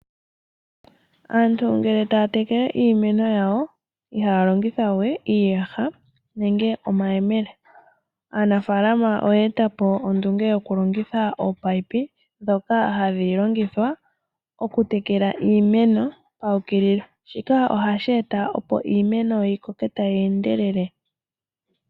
Aantu ngele taya tekele iimeno yawo, ihaya longitha we iiyaha, nenge omayemele. Aanafalama oye etapo ondunge yokulongitha ominino, ndhoka hadhi longithwa okutekela iimeno paukililo. Shika ohashi eta opo iimeno yikoke tayi endelele.